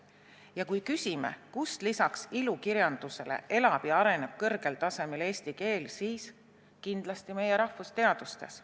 Ja kui küsime, kus lisaks ilukirjandusele elab ja areneb kõrgel tasemel eesti keel, siis kindlasti meie rahvusteadustes.